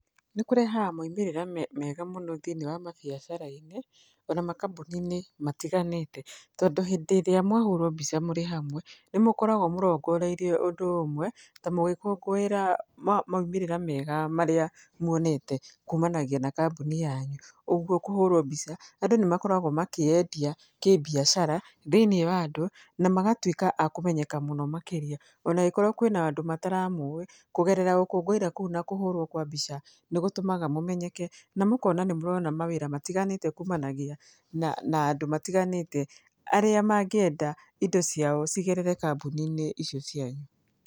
Nĩkũrehaga moimĩrĩra mega mũno thĩiniĩ wa mabiacara-inĩ ona makambuni-inĩ matiganĩte. Tondũ hĩndĩ ĩrĩa mwahũrwo mbica mũrĩ hamwe nĩmũkoragwo mũrongoreirie ũndũ ũmwe, ta mũgĩkũngũĩra maumĩrĩra mega marĩa muonete kumanagia na kambũni yanyu, ũguo kũhũrwo mbica andũ nĩmakoragwo makĩyendia kĩmbiacara thĩiniĩ wa andũ na magatuĩka akũmenyeka mũno makĩria, ona agĩkorwo kwĩna andũ mataramũĩ, kũgerera gũkũngũĩra kũu na kũhũrwo kwa mbica, nĩgũtũmaga mũmenyeke na mũkona nĩ mũrona mawĩra matiganĩte kumanagia na na andũ matiganĩte arĩa mangĩenda indo ciao cigerere kambuni-inĩ icio cianyu.